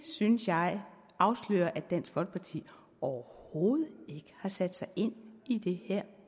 synes jeg afslører at dansk folkeparti overhovedet ikke har sat sig ind i det her